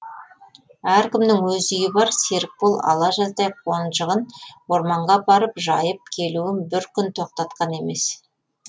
әркімнің өз үйі бар серікбол ала жаздай қонжығын орманға апарып жайып келуін бір күн тоқтатқан емес